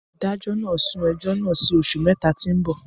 Adájọ́ nà sún ẹjo nà sí òsú mẹta ti mbọ